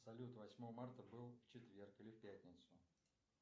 салют восьмое марта был в четверг или в пятницу